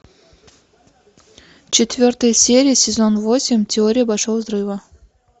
четвертая серия сезон восемь теория большого взрыва